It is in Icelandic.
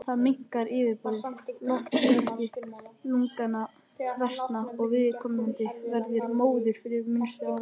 Þá minnkar yfirborðið, loftskipti lungnanna versna og viðkomandi verður móður við minnstu áreynslu.